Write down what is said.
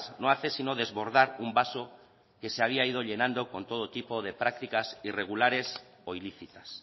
no hace sino desbordar un vaso que se había ido llenando con todo tipo de prácticas irregulares o ilícitas